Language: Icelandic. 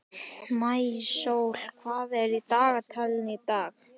Maísól, hvað er á dagatalinu í dag?